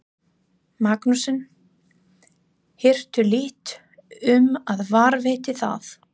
Magnússon, hirtu lítt um að varðveita það.